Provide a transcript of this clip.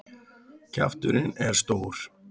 Kjafturinn er stór.